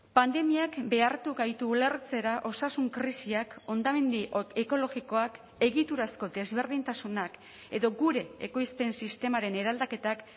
pandemiak behartu gaitu ulertzera osasun krisiak hondamendi ekologikoak egiturazko desberdintasunak edo gure ekoizpen sistemaren eraldaketak